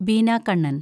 Beena Kannan‍